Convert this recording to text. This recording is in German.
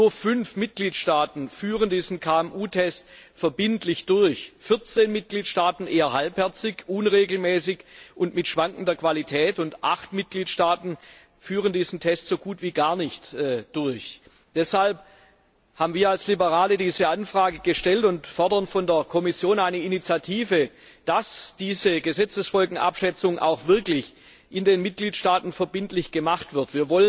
Nur fünf Mitgliedstaaten führen diesen KMU Test verbindlich durch, 14 Mitgliedstaaten eher halbherzig, unregelmäßig und mit schwankender Qualität, und acht Mitgliedstaaten führen diesen Test so gut wie gar nicht durch. Deshalb haben wir als Liberale diese Anfrage gestellt und fordern von der Kommission eine Initiative, dass diese Gesetzesfolgenabschätzung auch wirklich in den Mitgliedstaaten verbindlich gemacht wird.